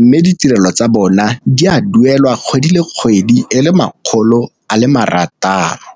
Mme ditirelo tsa bona di a duelwa kgwedi le kgwedi e le makgolo a le marataro.